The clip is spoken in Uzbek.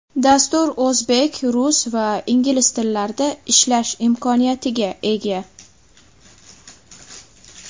Dastur o‘zbek, rus va ingliz tillarida ishlash imkoniyatiga ega.